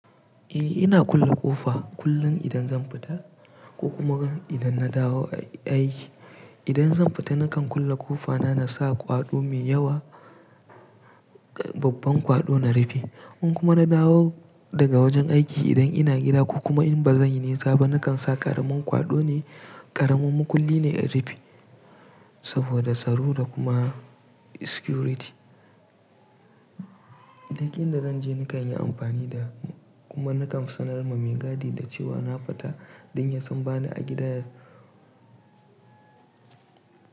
Eh ina kulle ƙofa kullum idan zan fita ko kuma idan na dawo a aiki. Idan zan fita nakan kulle ƙofa na, na sa kwaɗo mai yawa, babban kwaɗo na rufe. In kuma na dawo daga wajen aiki idan ina gida ko kuma in ba zan yi nisa ba na kan sa ƙaramin kwaɗo ne, ƙaramar makulli ne in rufe saboda tsaro da kuma security. Duk inda zan je nakan yi amfani da kuma nakan sanar wa mai gadi da cewa na fita don ya san bani a gida.